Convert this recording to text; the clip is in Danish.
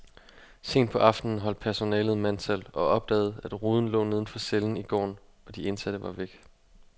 Sent på aftenen holdt personalet mandtal og opdagede, at ruden lå neden for cellen i gården, og de indsatte var væk.